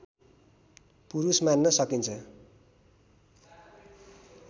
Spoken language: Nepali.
पुरुष मान्न सकिन्छ